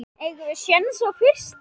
Eigum við séns á fyrsta?